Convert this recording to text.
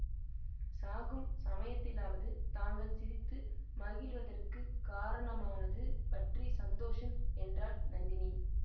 சாகும் சமயத்திலாவது தாங்கள் சிரித்து மகிழுவதற்குக் காரணமானது பற்றி சந்தோஷம் என்றாள் நந்தினி